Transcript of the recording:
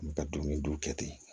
N bɛ ka dumuni don kɛ ten